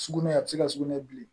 Sugunɛ a bɛ se ka sugunɛ bilen